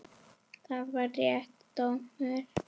Var það réttur dómur?